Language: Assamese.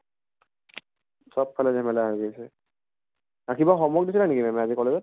চব ফালে ঝেমেলা হৈ আছে। ৰাতিপুৱা homework দিছিলে নেকি ma'am য়ে আজি college ত ?